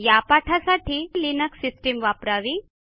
या पाठासाठी Linux system वापरावी